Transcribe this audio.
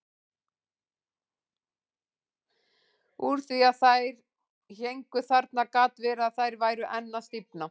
Úr því að þær héngu þarna gat verið að þær væru enn að stífna.